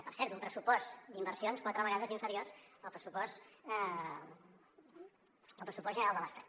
per cert un pressupost d’inversions quatre vegades inferior al pressupost general de l’estat